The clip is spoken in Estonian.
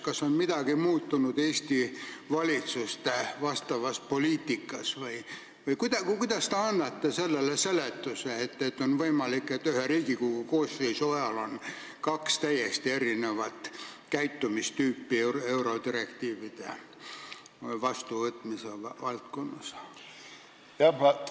Kas on midagi muutunud Eesti valitsuste vastavas poliitikas või kuidas te seda seletate, et on võimalik, et ühe Riigikogu koosseisu ajal on eurodirektiivide vastuvõtmisel esindatud kaks täiesti erinevat käitumistüüpi?